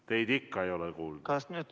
Teid ikka ei ole kuulda.